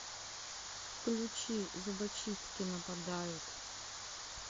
включи зубочистки нападают